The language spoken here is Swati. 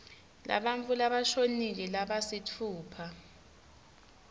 labantfu labashonile labasitfupha